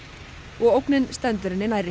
og ógnin stendur henni nærri